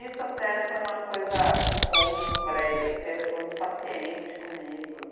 Isso até foi uma coisa, um ponto para ele, porque ele foi muito paciente comigo.